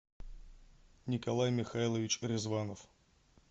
николай михайлович ризванов